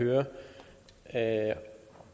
er jo